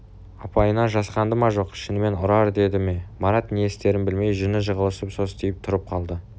апайынан жасқанды ма жоқ шынымен ұрар деді ме марат не істерін білмей жүні жығылып состиып тұрып қалды